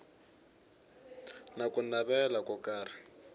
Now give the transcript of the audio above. na ku navela ko karhi